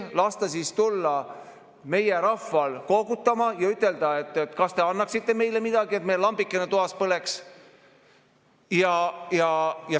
Las siis tulla meie rahvas koogutama ja, kas te annaksite meile midagi, et meil lambike toas põleks.